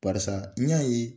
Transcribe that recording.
Parisa n y'a ye